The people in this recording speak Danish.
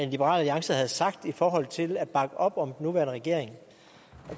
liberal alliance havde sagt i forhold til at bakke op om den nuværende regering